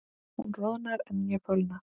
Hún roðnar en ég fölna.